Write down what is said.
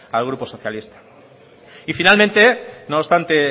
al grupo socialista y finalmente nos obstante